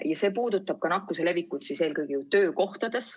Eelnõu puudutab nakkuse levikut eelkõige töökohtades.